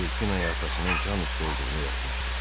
Delfin atasının can üstü olduğunu yazmışdı.